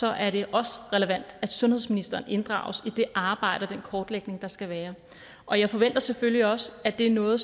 er det også relevant at sundhedsministeren inddrages i det arbejde og den kortlægning der skal være og jeg forventer selvfølgelig også at det er noget